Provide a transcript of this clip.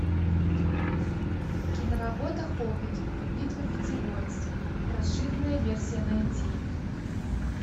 киноработа хоббит битва пяти воинств расширенная версия найти